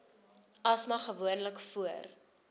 asma gewoonlik voor